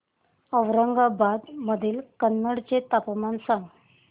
औरंगाबाद मधील कन्नड चे तापमान सांग